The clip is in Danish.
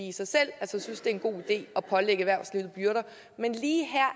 i sig selv er en god idé at pålægge erhvervslivet byrder men lige